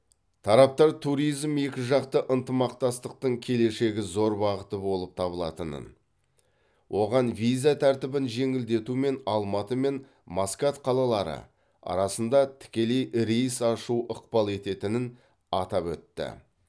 тараптар туризм екіжақты ынтымақтастықтың келешегі зор бағыты болып табылатынын оған виза тәртібін жеңілдету мен алматы мен маскат қалалары арасында тікелей рейс ашу ықпал ететінін атап өтті